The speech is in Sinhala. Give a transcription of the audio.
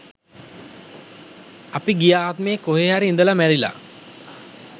අපි ගිය ආත්මයේ කොහේ හරි ඉඳලා මැරිලා